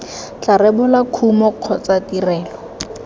tla rebola kumo kgotsa tirelo